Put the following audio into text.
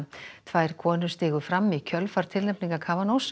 tvær konur stigu fram í kjölfar tilnefningar